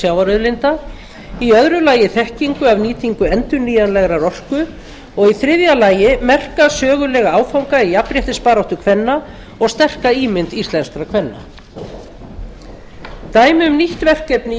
sjávarauðlinda aðra þekkingu af nýtingu endurnýjanlegrar orku þriðja merka sögulega áfanga í jafnréttisbaráttu kvenna og sterka ímynd íslenskra kvenna dæmi um nýtt verkefni í